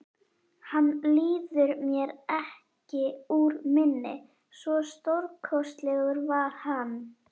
Hann líður mér ekki úr minni, svo stórkostlegur var hann.